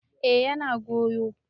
eh yana goyo